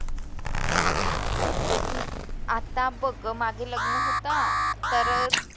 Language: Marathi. आता बघ मागे लग्न होतं तर